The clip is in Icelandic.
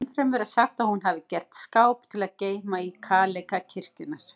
Ennfremur er sagt að hún hafi gert skáp til að geyma í kaleika kirkjunnar.